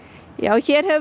hér hefur